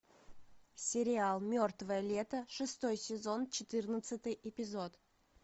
сериал мертвое лето шестой сезон четырнадцатый эпизод